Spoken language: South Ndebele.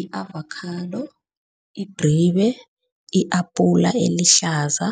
I-avokhado, idribe, i-apula elihlaza,